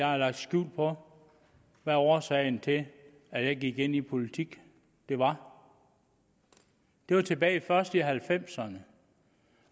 har lagt skjul på hvad årsagen til at jeg gik ind i politik var det var tilbage først i halvfemserne